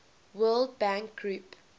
world bank group